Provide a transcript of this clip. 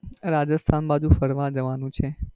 રાજસ્થાન બાજુ ફરવા જવાનું છે.